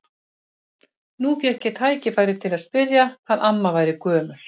Nú fékk ég tækifæri til að spyrja hvað amma væri gömul.